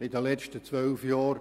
In den letzten zwölf Jahren habe